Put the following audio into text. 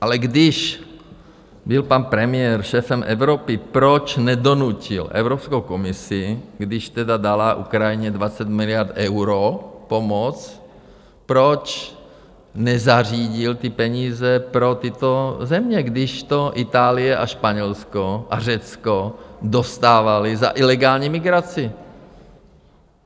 Ale když byl pan premiér šéfem Evropy, proč nedonutil Evropskou komisi, když tedy dala Ukrajině 20 miliard eur pomoc, proč nezařídil ty peníze pro tyto země, když to Itálie a Španělsko a Řecko dostávaly za ilegální migraci?